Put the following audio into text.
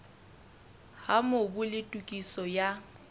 ha mobu le tokiso ya